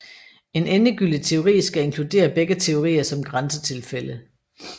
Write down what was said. En endegyldig teori skal inkludere begge teorier som grænsetilfælde